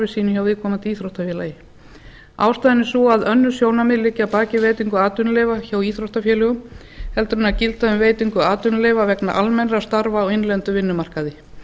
sínu hjá viðkomandi íþróttafélagi ástæðan er stað önnur sjónarmið liggja bað baki veitingu atvinnuleyfa hjá íþróttafélögum heldur en gilda um veitingu atvinnuleyfa vegna almennra starfa á innlendum vinnumarkaði